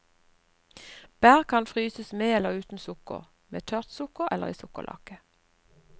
Bær kan fryses med eller uten sukker, med tørt sukker eller i sukkerlake.